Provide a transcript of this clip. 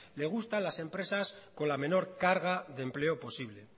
le gusta las empresas con la menor carga de empleo posible